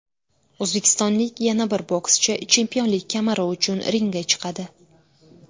O‘zbekistonlik yana bir bokschi chempionlik kamari uchun ringga chiqadi.